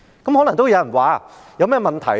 有人可能會問，這有甚麼問題呢？